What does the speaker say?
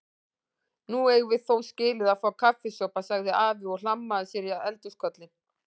Nú eigum við þó skilið að fá kaffisopa sagði afi og hlammaði sér á eldhúskollinn.